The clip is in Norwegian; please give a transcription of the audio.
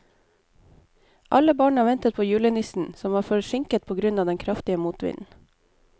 Alle barna ventet på julenissen, som var forsinket på grunn av den kraftige motvinden.